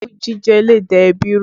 Òwú jíjẹ le da ẹbí rú